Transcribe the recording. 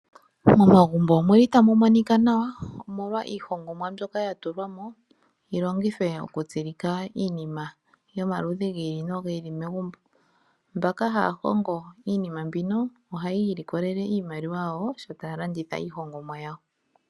Momagumbo omuli tamu monika nawa omolwa iihongomwa mbyoka yili yatulwa mo yi longithwe okutsilika iinima yomaludhi gi ili nogi ili momagumbo. Aantu mboka haya hongo iinima mbino ohayii likolele iimaliwa ngele ya landitha iihongomwa yawo.